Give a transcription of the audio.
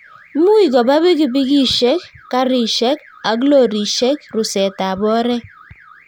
much koba pipikishek, karishek ak lorishet rusetab oret